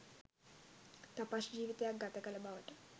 තපස් ජිවිතයක් ගත කල බවට